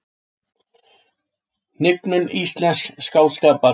Hnignun íslensks skáldskapar